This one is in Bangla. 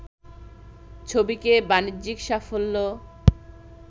ছবিকে বাণিজ্যিক সাফল্য